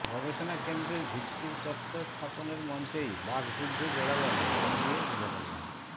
গবেষণা কেন্দ্রের ভিত্তিপ্রস্তর স্থাপনের মঞ্চেই বাকযুদ্ধে জড়ালেন কেন্দ্রীয় যুবকল্যাণ